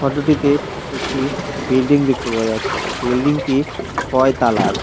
ফটোটিতে একটি বিল্ডিং দেখতে পাওয়া যাচ্ছে বিল্ডিংটি ছয় তালার ।